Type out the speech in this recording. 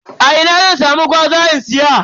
A ina zan samu gwaza in siya?